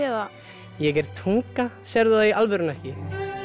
ég er tunga sérðu það í alvörunni ekki